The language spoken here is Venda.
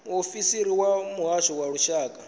muofisiri wa muhasho wa lushaka